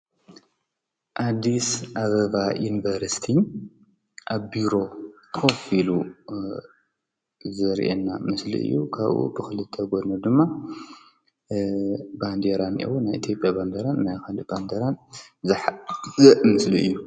ኣዲስ ኣበባ ዩኒቨርስቲ ኣብ ቢሮ ኮፍ ኢሉ ዘርእየና ምስሊ እዩ፡፡ ካብኡ ብክልተ ጎኑ ድማ ባንዴራ አለዎ፡፡ ናይ ኢትዮጵያ ባንዴራ ናይ ካሊእ ባንዴራን ዝሓዘ ምስሊ እዩ፡፡